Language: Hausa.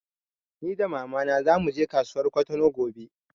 Ni da mama na zamu je kasuwar Kwatano gobe